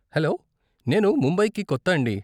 Hello, నేను ముంబైకి కొత్త అండి.